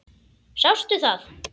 Sástu það?